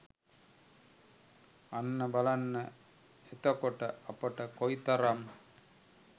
අන්න බලන්න එතකොට අපට කොයිතරම්